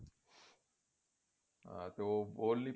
ਹਾਂ ਤੇ ਉਹ